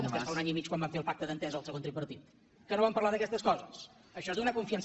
vostès fa un any i mig quan van fer el pacte d’entesa el segon tripartit que no van parlar d’aquestes coses això és donar confiança